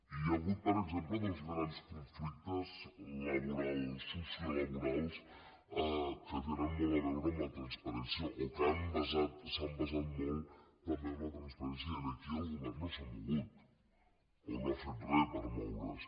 hi ha hagut per exemple dos grans conflictes sociolaborals que tenen molt a veure amb la transparència o que s’han basat molt també en la transparència i aquí el govern no s’ha mogut o no ha fet re per moure’s